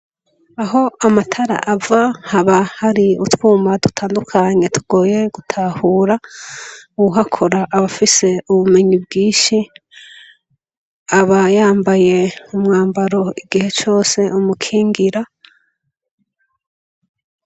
Aho amatara ava haba hari utwuma dutandukanye tugoye gutahura, uwuhakora aba afise ubumenyi bwinshi, aba yambaye umwambaro igihe cose umukingira.